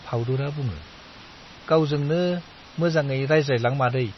फाउदुरा बुङो, गावजोंनो मोजाङै रायज्लायलां मादै।